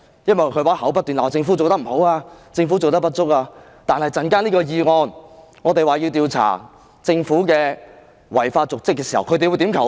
因為她口中不斷怪責政府做得不好、做得不足，但這項議案要調查政府的違法瀆職行為，他們又會怎樣投票？